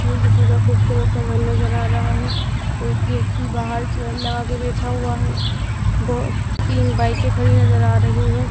ये किसी का खूबसूरत सा घन नजर आ रहा है एक व्यक्ति बाहर चेयर लगा के बैठा हुआ है बहो तीन बाइके खड़ी नजर आ रहीं हैं।